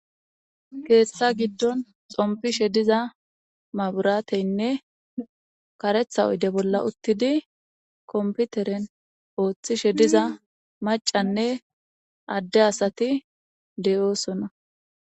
Keeththa giddon xompishe diza maburateynne karetha oyde bolla uttidi komputeren ooththishe diza macanne adde asati de'oosona